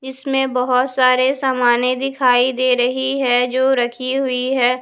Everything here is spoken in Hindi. इसमें बहुत सारे सामाने दिखाई दे रही है जो रखी हुई है।